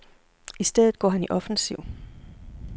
I stedet går han i offensiv.